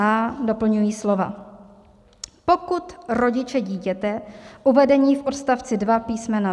a) doplňují slova: "pokud rodiče dítěte uvedení v odstavci 2 písm.